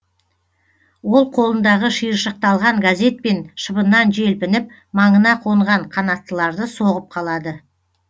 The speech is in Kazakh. ол қолындағы шиыршықталған газетпен шыбыннан желпініп маңына қонған қанаттыларды соғып қалады